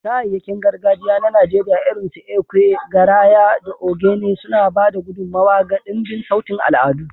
Kayayyakin gargajiya na Najeriya irinsu ekwe, garaya, da ogene suna ba da gudummawa ga dimbin sautin al'adu.